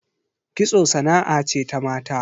Kitso sana'a ce ta mata